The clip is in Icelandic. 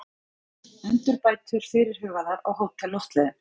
Endurbætur fyrirhugaðar á Hótel Loftleiðum